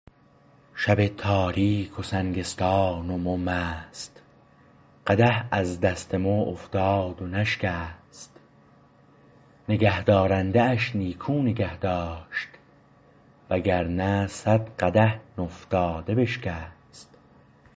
شب تاریک و سنگستان و مو مست قدح از دست مو افتاد و نشکست نگهدارنده اش نیکو نگهداشت و گرنه صد قدح نفتاده بشکست